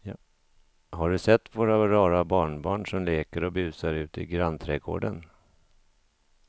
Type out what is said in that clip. Har du sett våra rara barnbarn som leker och busar ute i grannträdgården!